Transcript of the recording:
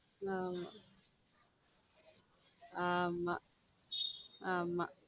ஆமா ஆம ஆமா.